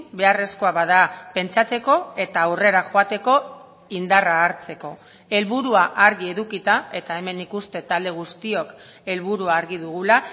beharrezkoa bada pentsatzeko eta aurrera joateko indarra hartzeko helburua argi edukita eta hemen nik uste talde guztiok helburua argi dugula